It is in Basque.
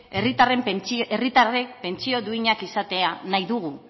herritarrek pentsio duinak izatea nahi dugu